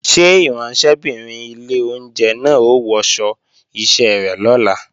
Ṣé ìránṣẹ́bìnrin ilé oúnjẹ náà ó wọṣọ iṣẹ́ rẹ̀ lọ́la?